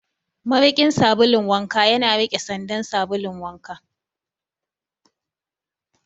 Mariƙin sabulun wanka yana rike sandan sabulun wanka.